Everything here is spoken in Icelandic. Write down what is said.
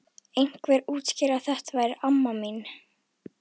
Einhver útskýrði að þetta væri amma mín.